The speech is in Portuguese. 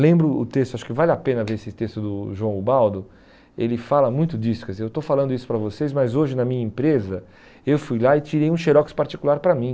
Lembro o texto, acho que vale a pena ver esse texto do João Ubaldo, ele fala muito disso, quer dizer, eu estou falando isso para vocês, mas hoje na minha empresa eu fui lá e tirei um xerox particular para mim.